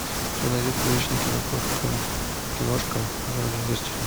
у тебя найдется приличная киношка в жанре вестерн